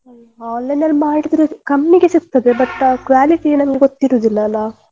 ಹ್ಮ್‌ online ಅಲ್ಲಿ ಮಾಡಿದ್ರೆ ಕಮ್ಮಿಗೆ ಸಿಗ್ತದೆ but ಆ quality ನಮ್ಗೆ ಗೊತ್ತಿರುದಿಲ್ಲ ಅಲ್ಲಾ.